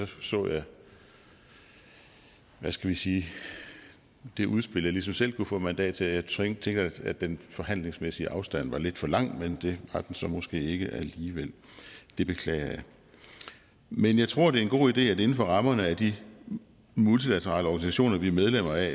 så jeg hvad skal vi sige det udspil jeg ligesom selv kunne få mandat til og jeg tænkte at den forhandlingsmæssige afstand var lidt for lang men det har den så måske ikke været alligevel det beklager jeg men jeg tror det er en god idé at vi inden for rammerne af de multilaterale organisationer vi er medlemmer af